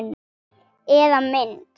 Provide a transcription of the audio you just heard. Eða mynd.